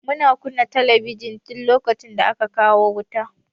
Muna kunna talabijin duk lokacin da akwai wuta.